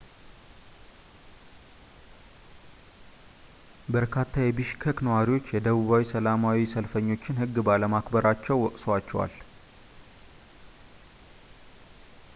በርካታ የቢሽከክ ነዋሪዎች የደቡብ ሰላማዊ ሰልፈኞችን ህግ ባለማክበራቸው ወቅሰዋቸዋል